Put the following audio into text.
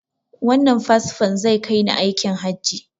Wannan fasfon zai kai ni aikin hajji.